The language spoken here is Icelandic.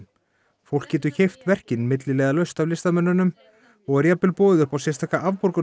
fólk getur keypt verkin milliliðalaust af listamönnunum og er jafnvel boðið upp á sérstaka